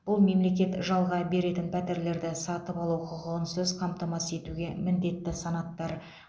бұл мемлекет жалға беретін пәтерлерді сатып алу құқығынсыз қамтамасыз етуге міндетті санаттар